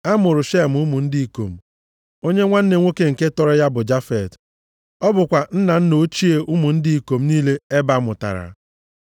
A mụụrụ Shem ụmụ ndị ikom, onye nwanne nwoke nke tọrọ ya bụ Jafet. Ọ bụkwa nna nna ochie ụmụ ndị ikom niile Eba mụtara.